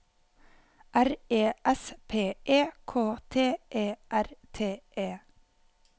R E S P E K T E R T E